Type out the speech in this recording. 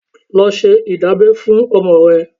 Lọ ṣe ìdábẹ́ fún ọmọ rẹ.